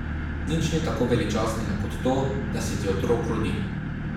Nič ni tako veličastnega kot to, da se ti otrok rodi.